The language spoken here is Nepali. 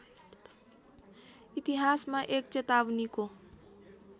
इतिहासमा एक चेतावनीको